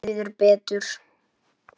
Mér líður betur.